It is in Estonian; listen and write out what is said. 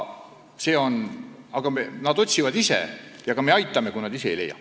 Aga nad otsivad koha ise ja meie aitame, kui nad ise ei leia.